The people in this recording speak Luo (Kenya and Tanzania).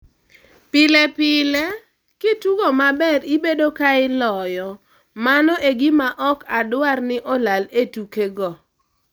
pile pile, kitugo maber ibedo ka iloyo mano egima ok adwar ni olal e tuke go.